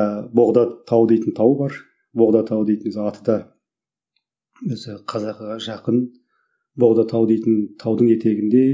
ыыы боғда тау дейтін тау бар боғда тау дейтін өзі аты да өзі қазақыға жақын боғда тау дейтін таудың етегінде